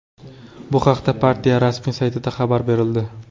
Bu haqda partiya rasmiy saytida xabar berildi .